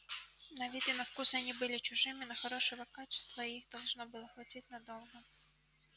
на вид и на вкус они были чужими но хорошего качества и их должно было хватить надолго